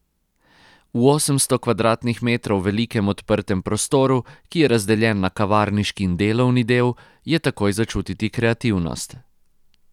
V osemsto kvadratnih metrov velikem odprtem prostoru, ki je razdeljen na kavarniški in delovni del, je takoj začutiti kreativnost.